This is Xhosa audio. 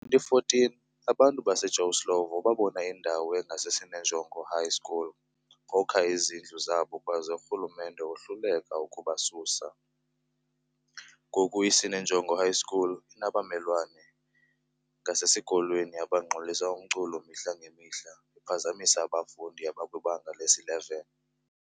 Ngo 2014 abantu base Joe Slovo babona indawo engase Sinenjongo High School bokha izindlu zabo kwaze uRhulumente wohluleka ukubasusa, ngoku iSinenjongo High school inabamelwane ngasesikolweni abangxolisa umculo mihla ngemihla bephazamisa abafundi abakwibanga lesi-11.